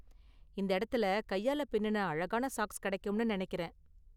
இந்த இடத்துல கையால பின்னுன அழகான சாக்ஸ் கிடைக்கும்னு நினைக்கிறேன்.